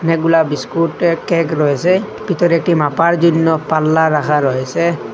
অনেকগুলা বিস্কুট এর কেক রয়েসে ভিতরে একটি মাপার জন্য পাল্লা রাখা রয়েসে।